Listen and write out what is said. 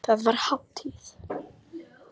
Þar var hátíð.